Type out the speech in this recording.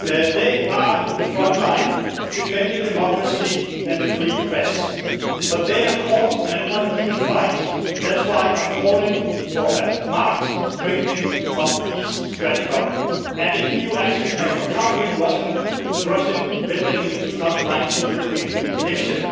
They are the front line, defending democracy and the free press, but they are caught in an uneven fight and that is why I am calling for a marked strengthening of East StratCom and an EU action plan for countering Russian meddling in the 2019 European election.